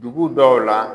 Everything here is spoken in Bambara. Dugu dɔw la